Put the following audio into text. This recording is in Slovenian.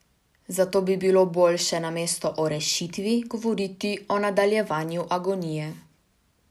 Zato bi bilo boljše namesto o rešitvi govoriti o nadaljevanju agonije.